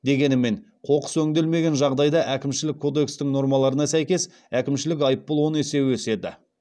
дегенмен қоқыс өңделмеген жағдайда әкімшілік кодекстің нормаларына сәйкес әкімшілік айыппұл он есе өседі